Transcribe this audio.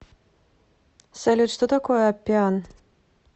салют что такое аппиан